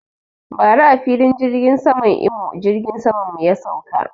Bara a filin jirgin saman Imo jirgin saman mu ya sauka